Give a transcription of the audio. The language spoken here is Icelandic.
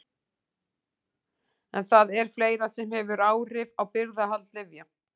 En það er fleira sem hefur áhrif á birgðahald lyfja.